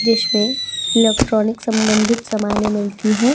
जिसमें इलेक्ट्रॉनिक सम्बंधित समाने मिलती हैं।